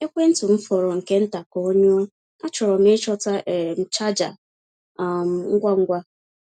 Ekwentị m fọrọ nke nta ka ọ nyụọ; achọrọ m ịchọta um chaja um ngwa ngwa.